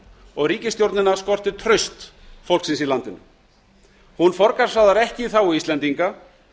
og ríkisstjórnina skortir traust fólksins í landinu hún forgangsraðar ekki í þágu íslendinga